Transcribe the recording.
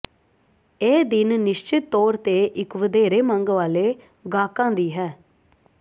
ਇਹ ਦਿਨ ਨਿਸ਼ਚਤ ਤੌਰ ਤੇ ਇੱਕ ਵਧੇਰੇ ਮੰਗ ਵਾਲੇ ਗਾਹਕਾਂ ਦੀ ਹੈ